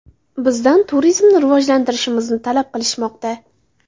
Bizdan turizmni rivojlantirishimizni talab qilishmoqda.